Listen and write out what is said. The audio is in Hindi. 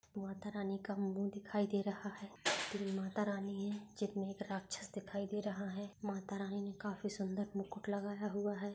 माता रानी का मुंह दिखाई दे रहा है तीन माता रानी है जिनमें एक राक्षस दिखाई दे रहा है। माता रानी ने काफी सुंदर मुकुट लगाया हुआ है।